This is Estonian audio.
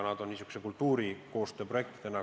Tegu on pigem kultuurikoostöö projektidega.